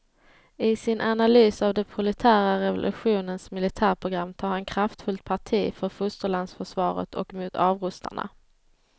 I sin analys av den proletära revolutionens militärprogram tar han kraftfullt parti för fosterlandsförsvaret och mot avrustarna.